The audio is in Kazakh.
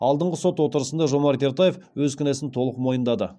алдыңғы сот отырысында жомарт ертаев өз кінәсін толық мойындады